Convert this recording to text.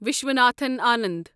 Viswanathan Anand